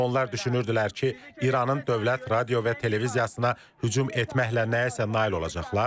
Onlar düşünürdülər ki, İranın Dövlət Radio və Televiziyasına hücum etməklə nəyəsə nail olacaqlar.